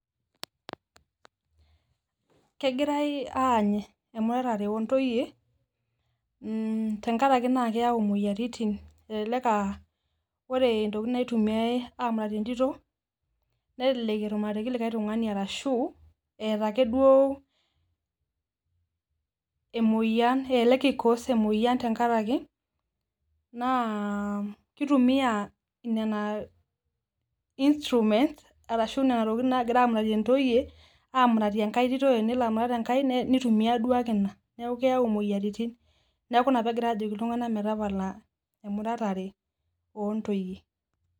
kegirae aany emuratare oo ntoyie, tenkaraki naa keyau imoyiaritin. elelek aa ore ntokitin naitumiae aamuratie entito, nelelek etumuratieki likae tung'ani ashu ake duo eeta ake emoyian elelk i cause emoyian tenkaraki naa kitumia.,nena instruments arashu nena tokitin naagirae aamuratie ntoyie, amuratie ekae tito tenelo amurat enkae. nitumia duo ake inaa neeku keyau imoyiaritin. neeku ina pee egirae aajoki iltungank metapala emuratare oontoyie.